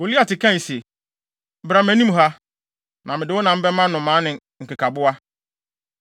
Goliat kae se, “Bra mʼanim ha, na mede wo nam bɛma nnomaa ne nkekaboa.”